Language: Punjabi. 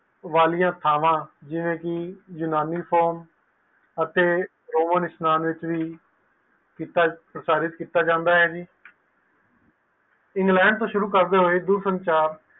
ਵਾਲਿਆਂ ਥਾਵਾਂ ਜਿਵੇ ਕਿ ਯੂਨਾਨੀ farm ਅਤੇ ਰੋਹਨ ਇਸਨਾਨ ਸ਼੍ਰੀ ਪ੍ਰਚਾਰਿਤ ਕੀਤਾ ਜਾਂਦਾ ਹੈ ਇੰਗਲੈਂਡ ਤੋਂ ਸ਼ੁਰੂ ਕਰਦੇ ਹੋਏ